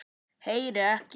Heyri ekki.